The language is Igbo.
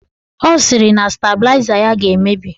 Ọ sịrị na stabịlaịza ya ga-emebi